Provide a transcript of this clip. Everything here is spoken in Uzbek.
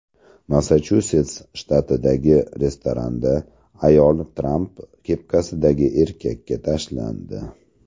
Massachusets shtatidagi restoranda ayol Tramp kepkasidagi erkakka tashlandi .